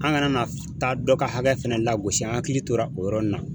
An kana na taa dɔ ka hakɛ fɛnɛ lagosi an hakili tora o yɔrɔ in na.